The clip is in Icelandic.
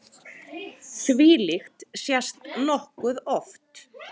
Þvílíkt sést nokkuð oft.